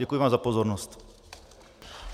Děkuji vám za pozornost.